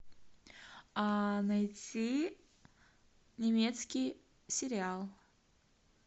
найти немецкий сериал